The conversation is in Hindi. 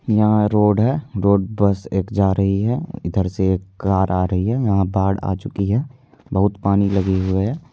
यहां रोड है रोड बस एक जा रही है इधर से एक कार आ रही है यहां बाढ़ आ चुकी है बहुत पानी लगी हुई है।